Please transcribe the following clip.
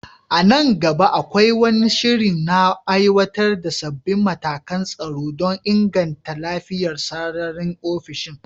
A nan gaba, akwai wani shiri na aiwatar da sabbin matakan tsaro don inganta lafiyar sararin ofishin?